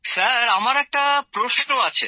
sir আমার একটা প্রশ্ন আছে